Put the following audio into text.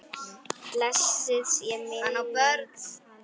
Blessuð sé minning hans!